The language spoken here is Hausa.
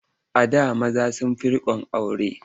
A da maza sun fi riƙon aure.